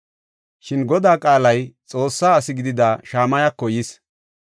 Shin Godaa qaalay Xoossaa asi gidida Shamayako yis.